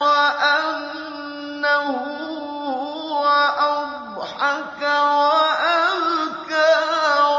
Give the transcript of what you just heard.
وَأَنَّهُ هُوَ أَضْحَكَ وَأَبْكَىٰ